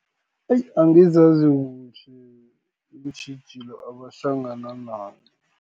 Eyi! angizazi kuhle, iintjhijilo abahlangana nazo.